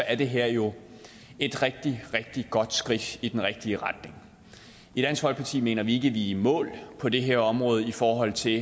er det her jo et rigtig rigtig godt skridt i den rigtige retning i dansk folkeparti mener vi er i mål på det her område i forhold til